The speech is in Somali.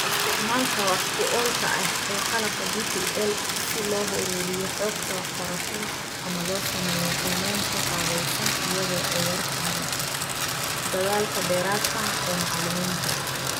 Isticmaalka wax ku oolka ah ee qalabka DPL si loo ururiyo xogta waxbarashada ama loo sameeyo qiimaynta qaabaysan iyadoo ay yartahay dadaalka dheeraadka ah ee macalimiinta